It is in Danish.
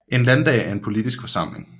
En landdag er en politisk forsamling